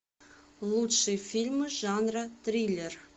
лучшие фильмы жанра триллер